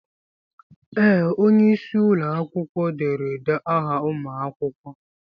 Ee! Onye isi ụlọ akwụkwọ derede aha ụmụ akwụkwọ.